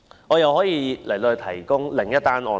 我又可以舉出另一宗案例。